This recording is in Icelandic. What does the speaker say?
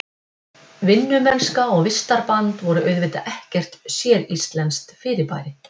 Vinnumennska og vistarband voru auðvitað ekkert séríslenskt fyrirbæri.